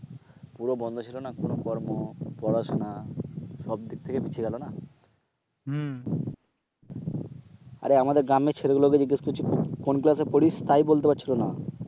পুরো বন্ধ ছিল না পুরো কর্ম পড়াশোনা সব দিক থেকে পিছিয়ে গেল না, আরে আমাদের গ্রামের ছেলেগুলো কে জিজ্ঞেস করছি কোন ক্লাস এ পড়িস তাই বলতে পারছিল না